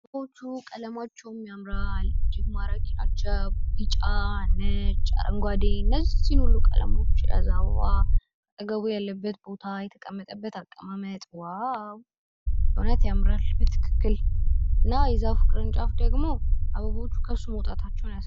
ዛፎቹ ቀለማቸውን ያምራል። ቢጫ፣ ነጭ፣ አረንጓዴ እነዚህን ሁሉ ቀለማቶች የያዘ አበባ አጠገቡ ያለበት ቦታ፣ የተቀመጠበት አቀማመጥ ዋው!! እዉነት ያምራል። በትክክል እና የዛፉ ቅርንጫፎች ደግሞ አበቦቹ ከሱ መውጣታቸውን ያሳያል።